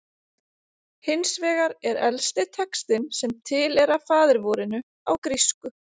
Hins vegar er elsti textinn sem til er af faðirvorinu á grísku: